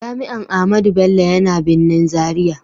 Jami'an Ahmadu Bello yana birnin Zaria.